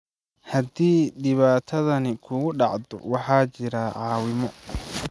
Haddii dhibaatadani kugu dhacdo, waxaa jira caawimo.